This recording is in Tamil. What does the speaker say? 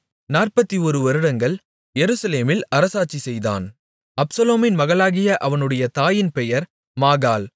41 வருடங்கள் எருசலேமில் அரசாட்சி செய்தான் அப்சலோமின் மகளாகிய அவனுடைய தாயின் பெயர் மாகாள்